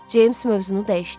Ceyms mövzunu dəyişdi.